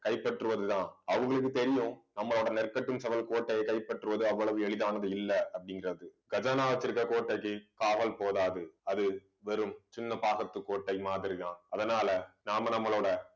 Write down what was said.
கைப்பற்றுவதுதான் அவங்களுக்கு தெரியும் நம்மளோட நெற்கட்டும் செவல் கோட்டையை கைப்பற்றுவது அவ்வளவு எளிதானது இல்லை அப்படிங்கறது. கஜானா வச்சிருக்க கோட்டைக்கு காவல் போதாது. அது வெறும் சின்ன பாக்கத்துக்கோட்டை மாதிரிதான். அதனால நாம நம்மளோட